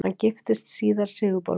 Hann giftist síðar Sigurborgu